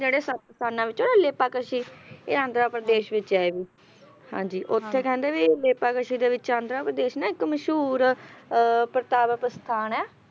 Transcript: ਜਿਹੜੇ ਸ ਸੱਤ ਸਥਾਨਾਂ ਵਿੱਚੋਂ ਲੇਪਾਕਸ਼ੀ ਇਹ ਆਂਧਰਾ ਪ੍ਰਦੇਸ਼ ਵਿੱਚ ਹੈ ਇਹ ਵੀ ਹਾਂਜੀ ਹਾਂ ਉੱਥੇ ਕਹਿੰਦੇ ਵੀ ਲੇਪਾਕਸ਼ੀ ਦੇ ਵਿੱਚ ਆਂਧਰਾ ਪ੍ਰਦੇਸ਼ ਨਾ ਇੱਕ ਮਸ਼ਹੂਰ ਅਹ ਪਰਤਾਵਾ ਪ੍ਰਸਥਾਨ ਹੈ।